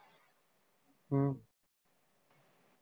ਹਮ